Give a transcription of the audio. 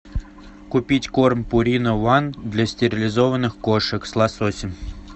купить корм пурина уан для стерилизованных кошек с лососем